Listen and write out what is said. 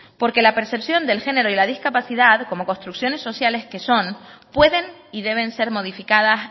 porque la percepción del género y la discapacidad como construcciones sociales que son pueden y deben ser modificadas